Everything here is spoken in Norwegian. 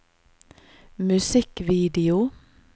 musikkvideo